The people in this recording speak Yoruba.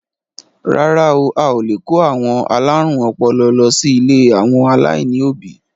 Rárá à, o lè kó àwọn alárùn ọpọlọ lọ sí ilé àwọn aláìní òbí.